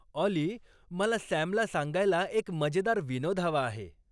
ऑली मला सॅम ला सांगायला एक मजेदार विनोद हवा आहे